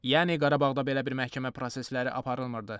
Yəni Qarabağda belə bir məhkəmə prosesləri aparılmırdı.